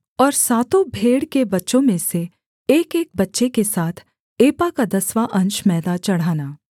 और सातों भेड़ के बच्चों में से एकएक बच्चे के साथ एपा का दसवाँ अंश मैदा चढ़ाना